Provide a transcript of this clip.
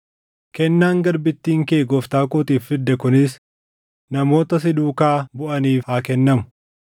Kennaan garbittiin kee gooftaa kootiif fidde kunis namoota si duukaa buʼaniif haa kennamu.